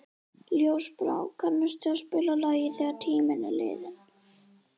Ljósbrá, kanntu að spila lagið „Þegar tíminn er liðinn“?